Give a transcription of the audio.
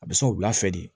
A bɛ se ka wula fɛ de